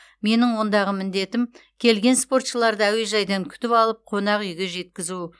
менің ондағы міндетім келген спортшыларды әуежайдан күтіп алып қонақ үйге жеткізу